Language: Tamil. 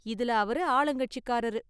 இதுல அவரு ஆளுங்கட்சிகாரரு.